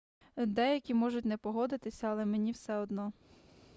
деякі можуть не погодитися але мені все одно